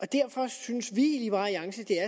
derfor synes vi